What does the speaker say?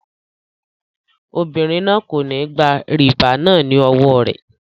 Obìnrin náà kò ní gba rìbá náà ní owó rẹ.